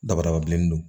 Dabadaba bilenni don